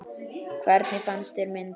Hvernig fannst þér myndin?